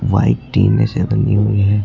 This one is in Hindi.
व्हाइट टिने से बनी हुई है।